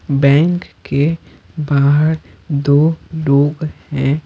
Bank के बाहर दोलोग हैं।